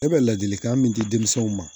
E bɛ ladilikan min di denmisɛnw ma